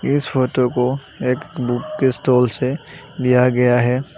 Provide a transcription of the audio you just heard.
इस फोटो को एक बुक के स्टोर से लिया गया है।